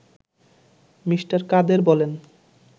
Me. Kader বলেন